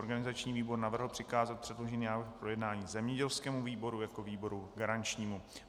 Organizační výbor navrhl přikázat předložený návrh k projednání zemědělskému výboru jako výboru garančnímu.